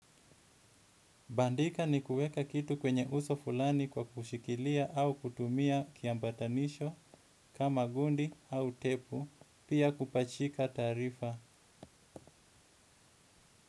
Bandika ni kuweka kitu kwenye uso fulani kwa kushikilia au kutumia kiambatanisho kama gundi au tepu pia kupachika taarifa.